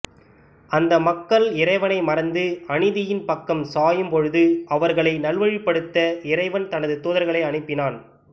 அந்த மக்கள் இறைவனை மறந்து அநீதியின் பக்கம் சாயும் பொழுது அவர்களை நல்வழிப்படுத்த இறைவன் தனது தூதர்களை அனுப்பினான்